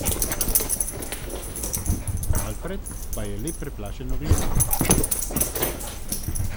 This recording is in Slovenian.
Alfred pa je le preplašeno gledal.